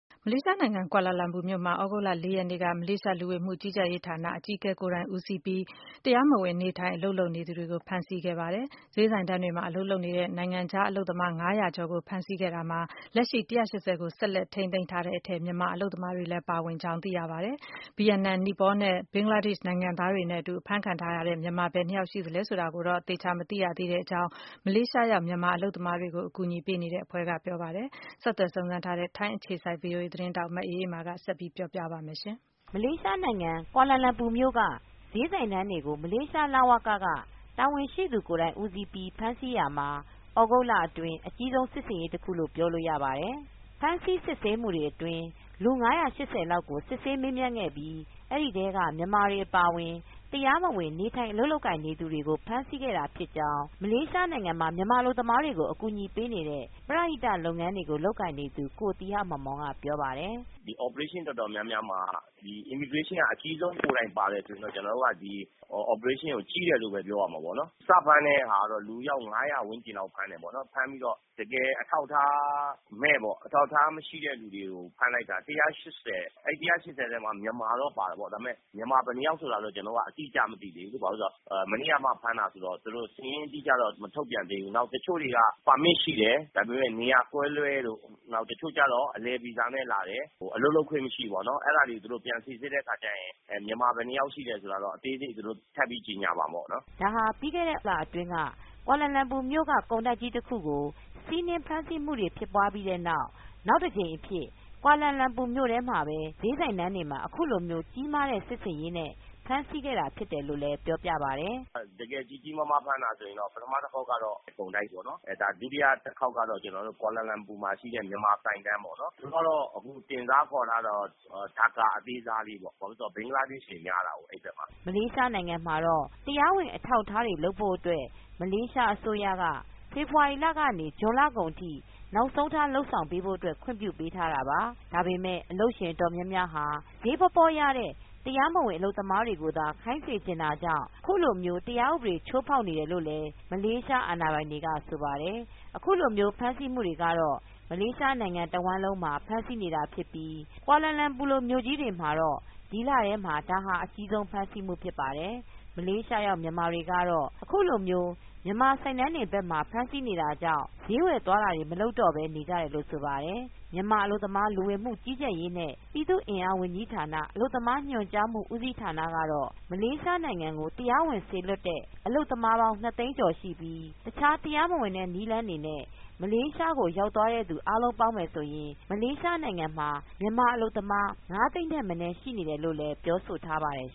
မလေးရှားနိုင်ငံ၊ ကွာလာလမ်ပူမြို့မှာ သြဂုတ်လ ၅ ရက်နေ့က မလေးရှား လူဝန်မူကြီးကြပ်ရေးဌာနက တာဝန် အကြီးဆံုံးရှိသူ ကိုယ်တိုင် ဦးစီးပြီး တရားမဝင် နေထိုင် အလုပ် လုပ်ကိုင်နေသူတွေနဲ့ မြန်မာတွေရဲ့ ဈေးဆိုင်တန်းတွေကို ဝင်ရောက် ဖမ်းဆီးတဲ့ စစ်ဆင်ရေးတခု ပြုလုပ်ခဲ့ရာမှာ လူ (၅၀၀) ကျော်ကို ဖမ်းဆီး စစ်ဆေးခဲ့ပြီး အဲဒီထဲက လူ (၁၈၀) လောက်ကို ထိန်းသိမ်း ခဲ့ပါတယ်။ ဒီထဲမှာ တရားမဝင် နေထိုင် အလုပ်လုပ်နေသူ မြန်မာ ၊ ဘင်္ဂလားဒေ့ရှ် ၊နီပေါနဲ့ ဗီယက်နိုင်ငံသားတွေ ပါဝင်ပါတယ်။ ဒီအကြောင်း ထိုင်းအခြေစိုက် သတင်းထောက် မအေးအေးမာက သတင်းပေးပို့ထားပါတယ်။ မလေးရှားနိုင်ငံကွာလာလမ်ပူမြိုက ဈေးဆိုင်တန်းတွေကို မလေးရှား လဝက ကတာဝန်ရှိသူကိုယ်တိုင်ဦးစီးပြီး ဖမ်ဆီးရာမှာ သြဂုတ်လအတွင်း အကြီးဆုံး စစ်ဆင်ရေးတခုလို့ပြောလို့ရပါတယ်။ ဖမ်းဆီးစစ်ဆေးမူတွေအတွင်း လူ ၅၈၀လောက်ကို စစ်ဆေးမေးမြန်းခဲ့ပြီး အဲဒီထဲက မြန်မာတွေအပါအဝင် တရားမဝင်နေထိုင် အလုပ်လုပ်ကိုင်နေသူတွေကို ဖမ်းဆီးခဲ့တာဖြစ်ကြောင်း မလေးရှားနိုင်ငံမှာ အလုပ်သမားတွေကို ကူညီပေးနေတဲ့ ပရဟိတလုပ်ငန်းတွေကို လုပ်ကိုင်နေသူ ကိုသီဟမောင်မောင်က ပြောပြပါတယ်။ “ဒီ Operation တော်တော်များများမှာ Immigration က အကြီးဆုံးကိုယ်တိုင်ပါတယ်ဆိုရင် ကျနော်တို့ ဒီ Operationကို ကြီးတယ်လို့ပြောရမှာပေါ့။ စဖမ်းတဲ့ ဟာဆိုရင် လူအယောက် ၅၀၀ ဝန်းကျင်လောက်ဖမ်းတယ်ပေါ့နော်။ ဖမ်းပြီးတော့ တကယ်အထောက်အထားမဲ့ပေါ့နော် အထောက်အထားမရှိတဲ့သူတွေကို ဖမ်းလိုက်တာ ၁၈၀။ အဲဒီ ၁၈၀ ထဲမှာ မြန်မာတော့ပါတယ်ပေါ့ ဒါပေမယ့် မြန်မာဘယ်နှစ်ယောက်ဆိုတာတော့ ကျနော်တို့ အတိအကျမသိသေးဘူး။ ဘာဖြစ်လို့လဲဆိုတော့ မနေ့ကမှ ဖမ်းတာဆိုတော့ ၊ သူတို့ စာရင်းအတိအကျတော့ မထုတ်ပြန်သေးဘူး။ နောက်တချို့တွေက ပါမစ်ရှိတယ်၊ ဒါပေမယ့် နေရာကွဲလွဲလို့ ဒါပေမယ့် တချို့ကျတော့ အလည်ဗီဇာနဲ့ လာတယ် အလုပ်လုပ်ခွင့်မရှိဘူးပေါ့နော် အဲဒီတွေကို သူတို့ ပြန်စိစစ်တဲ့အခါကျရင် မြန်မာ ဘယ်နှစ်ယောက်ရှိတယ်ဆိုတာကတော့ အသေးစိတ်သူတို့ထပ်ပြီးတော့ ကြေညာမှာပေါ့နော်။” ဒါဟာ ပြီးခဲ့တဲ့ ဇူလိုင်လအတွင်းတုန်းက ကွာလာလမ်ပူမြို့က ကုန်တိုက်ကြီးတခုကို စီနင်းဖမ်းဆီးမူပြီးတဲ့နောက် နောက်တကြိမ်အဖြစ် ကွာလာလမ်ပူမြို့ထဲမှာပဲ ဈေးဆိုင်တန်းတွေမှာ အခုလိုကြီးမားတဲ့ စစ်ဆင်ရေးနဲ့ ဖမ်းဆီးခဲ့တာဖြစ်တယ်လို့ လည်းပြောပါတယ်။ “တကယ်ကြီးကြီးမားမား ဖမ်းတာဆိုရင်တော့ ပထမတခေါက်ကတော့ ကုန်တိုက်ပေါ့နော်၊ ဒါ ဒုတိယတခေါက်ကတော့ ကွာလာလမ်ပူမှာရှိတဲ့ မြန်မာဆိုင်တန်းတွေပေါ့နော် ။ သူကတော့ တင်စားခေါ်ထားတာကတော့ Dhaka အသေးစားလေးပေါ့နော် ဘာဖြစ်လို့လဲဆိုတော့ ဘင်္ဂလားဒေ့ရှ်တွေများတာပေါ့နော် အဲဒီဘက်မှာ။” မလေးရှားမှာတော့ တရားဝင်အထောက်အထားတွေလုပ်ဖို့ အတွက် မလေးရှားအစိုးရက ဖေဖေါ်ဝါရီလကနေ ဇွန်လကုန်ထိ နောက်ဆုံးထား လုပ်ဆောင်ဖို့ အတွက် ခွင့်ပြုပေးထားတာပါ။ ဒါပေမယ့် အလုပ်ရှင်အတော်များများဟာ ဈေးပေါပေါရတဲ့ တရားမဝင်အလုပ်သမားတွေကိုသာ ခိုင်းစေချင်တာကြောင့် အခုလိုမျိုး တရားဥပဒေချိုးဖောက်နေတယ် လို့လည်း မလေးရှားအာဏာပိုင်တွေက ဆိုပါတယ်။ အခုလိုမျိုး ဖမ်းဆီးမူတွေကတော့ မလေးရှားနိုင်ငံတဝှမ်းလုံးမှာ ဖမ်းဆီးနေတာဖြစ်ပြီး ကွာလာလမ်ပူလိုမြို့ ကြီးမှာတော့ ဒီလထဲမှာ ဒါဟာအကြီးဆုံး ဖမ်းဆီးမူဖြစ်ပါတယ်။ မလေးရှားရောက်မြန်မာတွေကတော့ အခုလို မြန်မာဆိုင်တန်းတွေဘက်ကမှာ ဖမ်းဆီးနေတာကြောင့် ဈေးဝယ်သွားတာတွေ မလုပ်တော့ပဲ နေကြတယ်လို့ ဆိုပါတယ်။ မြန်မာ အလုပ်သမားလူဝင်မူကြီးကြပ်ရေးနဲ့ ပြည်သူအင်အားဝန်ကြီးဌာန ၊ အလုပ်သမားညွန်ကြားမှု ဦးစီးဌာနက တော့ မလေးရှားကို တရားဝင်စေလွတ်တဲ့ အလုပ်သမားပေါင်း ၂သိန်းကျော်ရှိပြီး တခြားတရားမဝင်တဲ့နည်းလမ်းတွေနဲ့ မလေးရှားကိုရောက်သွားသူအားလုံးပေါင်းရင် မလေးရှားမှာ မြန်မာအလုပ်သမား ၅သိန်းထက်မနည်း ရှိနေတယ်လိုပြောဆိုထားပါတယ်